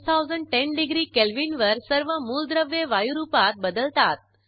6010 degree kelvin वर सर्व मूलद्रव्ये वायुरूपात बदलतात